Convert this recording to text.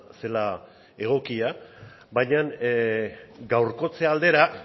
zela egokia baina gaurkotze aldera